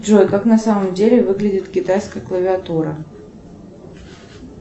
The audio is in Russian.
джой как на самом деле выглядит китайская клавиатура